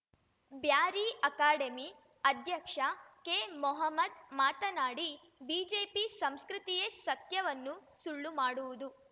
Beary academy ಅಧ್ಯಕ್ಷ ಕೆಮೊಹಮ್ಮದ್‌ ಮಾತನಾಡಿ BJP ಸಂಸ್ಕೃತಿಯೇ ಸತ್ಯವನ್ನು ಸುಳ್ಳು ಮಾಡುವುದು